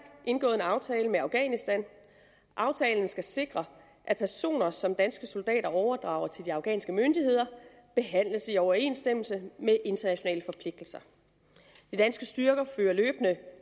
indgået en aftale med afghanistan aftalen skal sikre at personer som danske soldater overdrager til de afghanske myndigheder behandles i overensstemmelse med internationale forpligtelser de danske styrker fører løbende